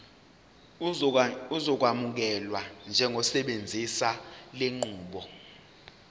uzokwamukelwa njengosebenzisa lenqubo